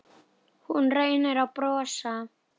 Hún reynir að brosa.